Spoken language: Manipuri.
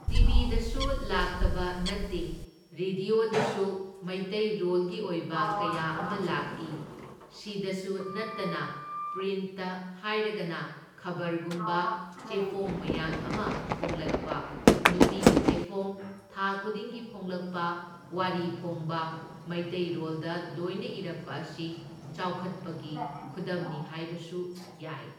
ꯇꯤꯕꯤꯗꯁꯨ ꯂꯥꯛꯇꯕ ꯅꯠꯇꯦ ꯔꯦꯗꯤꯌꯣꯁꯗꯁꯨ ꯃꯩꯇꯩꯔꯣꯜꯒꯤ ꯑꯣꯏꯕ ꯀꯌꯥ ꯑꯃ ꯂꯥꯛꯢ, ꯁꯤꯗꯁꯨ ꯅꯠꯇꯅ ꯄ꯭ꯔꯤꯟꯠꯇ ꯍꯥꯏꯔꯒꯅ ꯈꯕꯔꯒꯨꯝꯕ ꯆꯦꯐꯣꯡ ꯃꯌꯥꯝ ꯑꯃ ꯐꯣꯡꯂꯛꯄ, ꯅꯨꯄꯤꯒꯤ ꯆꯦꯐꯣꯡ ꯊꯥ ꯈꯨꯗꯤꯡꯒꯤ ꯐꯣꯡꯂꯛꯄ, ꯋꯥꯔꯤ ꯐꯣꯡꯕ ꯃꯩꯇꯩꯔꯣꯜꯗ ꯂꯣꯏꯅ ꯏꯔꯛꯄ ꯑꯁꯤ ꯆꯥꯎꯈꯠꯄꯒꯤ ꯈꯨꯗꯝꯅꯤ ꯍꯥꯏꯕꯁꯨ ꯌꯥꯏ꯫